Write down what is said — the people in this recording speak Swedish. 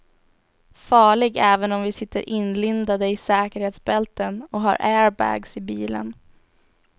Farlig även om vi sitter inlindade i säkerhetsbälten och har airbags i bilen.